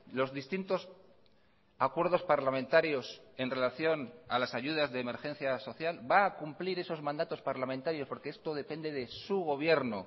los distintos acuerdos parlamentarios en relación a las ayudas de emergencia social va a cumplir esos mandatos parlamentarios porque esto depende de su gobierno